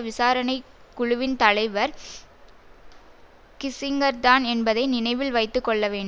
விசாரணை குழுவின் தலைவர் கிஸிங்கர்தான் என்பதை நினைவில் வைத்துக்கொள்ளவேண்